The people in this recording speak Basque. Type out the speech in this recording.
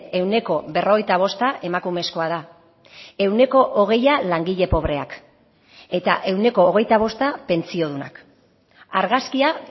ehuneko berrogeita bosta emakumezkoa da ehuneko hogeia langile pobreak eta ehuneko hogeita bosta pentsiodunak argazkia